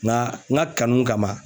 Nka n ka kanu kama